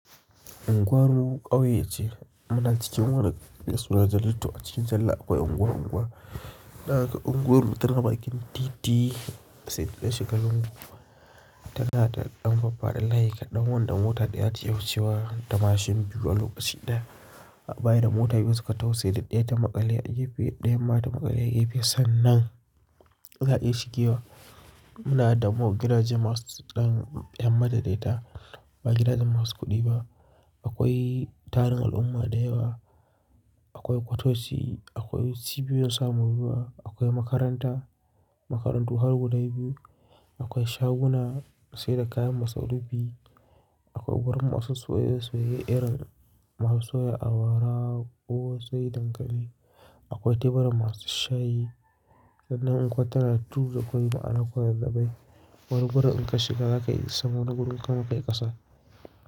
Unguwar mu ƙauye ce. Muna cikin wani maisuna jalla to a cikin jalla akwai unguwa-unguwa. Za kaga unguwar mu tana bakin titi sai ka shiga lunguba. Tana da ɗan faffaɗa layi kaɗan wanda mota ɗaya ta iya wucewa da mashin biyu a lokaci ɗaya. Bayan da mota biyu suka taho saidai ɗaya ta maƙale a gefe, ɗayan ma ta maƙale a gefe. Sannan za ka iya shigewa. Muna da masu gidaje masu ɗan ɗan matsakaita daya ta, ba gidan jama'a masu kuɗi ba. Akwai tarin al'umma da yawa, akwai ƙwatoci, akwai cibiyoyin samun ruwa, akwai makaranta, makarantu har guda biyu, akwai shaguna sai da kayan masarufi biyu, akwai wurin masu soya soya irin masu soya awara ko sai dankali, akwai teburan masu shayi. Sannan unguwar tana tufu da kwari ma'ana a kwazaz bai. Wari wurin in ka shiga za ka yi sama na gurin ka ma kai ƙasa.